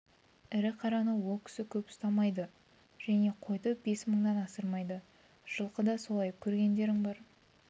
ірі қараны ол кісі көп ұстамайды және қойды бес мыңнан асырмайды жылқы да солай көргендерің бар